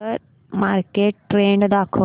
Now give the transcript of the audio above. share market trend दाखव